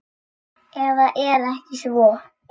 Eða er ekki svo?